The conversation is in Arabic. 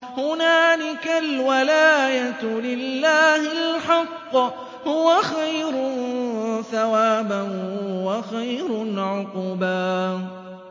هُنَالِكَ الْوَلَايَةُ لِلَّهِ الْحَقِّ ۚ هُوَ خَيْرٌ ثَوَابًا وَخَيْرٌ عُقْبًا